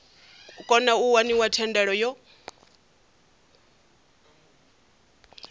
kona u waniwa thendelo yo